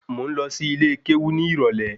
Mo ń lọ sí ilé kéwú ní ìrólé